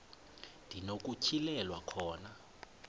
ndi nokutyhilelwa khona